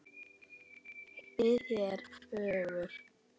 Við hér fjögur?